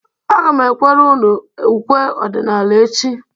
Aga m ekwere unu ukwe ọdịnaala echi.